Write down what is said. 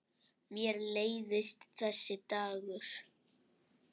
Mér leiðist þessi dagur.